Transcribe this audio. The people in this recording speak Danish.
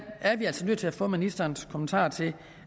vi altså nødt til at få ministerens kommentarer til